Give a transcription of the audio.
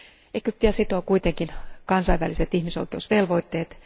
Egyptiä sitovat kuitenkin kansainväliset ihmisoikeusvelvoitteet.